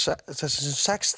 sex